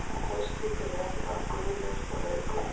en haustlitir eru ekki bara gulir og rauðgulir